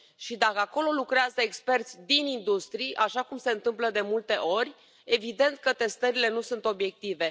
Și dacă acolo lucrează experți din industrii, așa cum se întâmplă de multe ori, evident că testările nu sunt obiective.